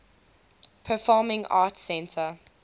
performing arts center